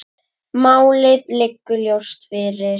Málið liggur ljóst fyrir.